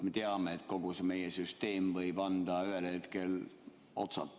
Me teame, et kogu meie süsteem võib anda ühel hetkel otsad.